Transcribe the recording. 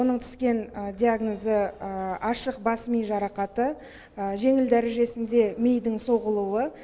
оның түскен диагнозы ашық бас ми жарақаты жеңіл дәрежесінде мидың соғылуы